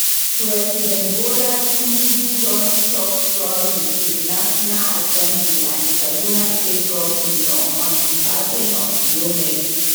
president bola tinubu don tok sorry to di national assembly and di kaduna state govnor on di passing of di lawmaker